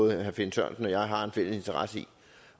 at herre finn sørensen og jeg har en fælles interesse i